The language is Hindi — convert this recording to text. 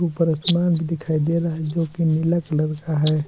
ऊपर आसमान भी दिखाई दे रहा है जो कि नीला कलर का है।